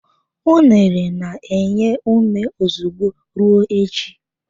Unere na-enye ume ozugbo, ruo echi.